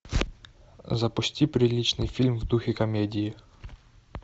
запусти приличный фильм в духе комедии